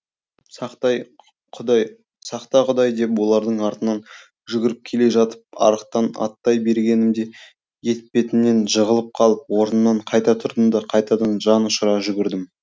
сақта құдай деп олардың артынан жүгіріп келе жатып арықтан аттай бергенімде етпетімнен жығылып қалып орнымнан қайта тұрдым да қайтадан жан ұшыра жүгірдім